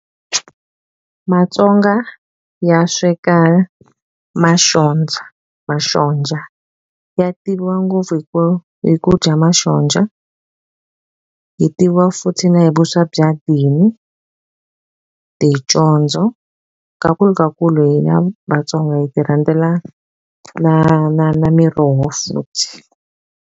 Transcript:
Matsonga ya sweka maxojha maxonja ya tiviwa ngopfu hi ku hi ku dya masonja hi tiviwa futhi na hi vuswa bya dini ticondzo hina Vatsonga hi ti rhandzela na na na miroho futhi.